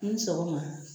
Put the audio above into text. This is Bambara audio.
Ni sɔgɔma